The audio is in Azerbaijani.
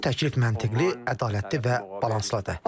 Bu təklif məntiqli, ədalətli və balanslıdır.